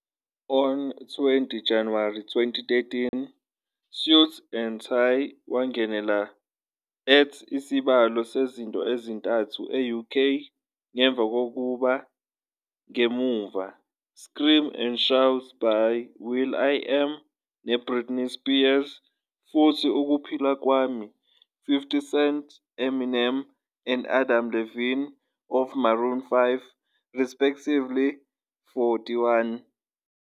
On 20 January 2013, "Suit and Tie" wangenela at isibalo sezinto ezintathu e-UK, ngemva kokuba ngemuva "Scream and Shout" by will.i.am ne Britney Spears futhi "Ukuphila Kwami" 50 Cent Eminem and Adam Levine of Maroon 5, respectively.41